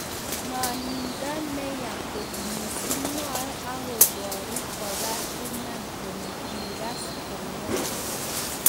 Mwanindaa neyaa koot mising "mwae akobaruu kobaar Iman kole kikas kongwan